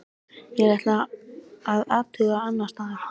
Ég ætla að athuga annars staðar.